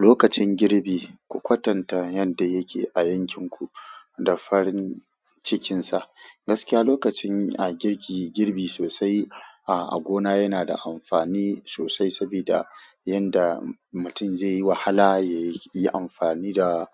Lokacin girbi, ku kwatanta yanda yake a yankin ku da farin cikin sa. Gaskiya lokacin a girki girbi sosai a gona yana da amfani sosai sabida yanda mutum zai yi wahala yayi amfani da,